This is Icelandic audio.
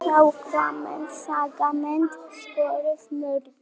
Skagamenn Skagamenn skoruðu mörkin.